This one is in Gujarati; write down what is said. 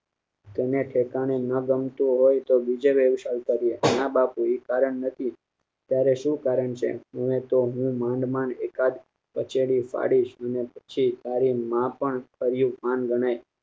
તને આ ઠેકાણે ના ગમતું હોય તો બીજે વ્યવસાય કરીએ ના બાપુ ઈ કારણ નથી તારે શું કારણ છે હું તો લોન માં એકાદ પછેડી પાડીશ ને તારું નાપન માન ગણાય